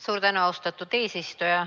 Suur tänu, austatud eesistuja!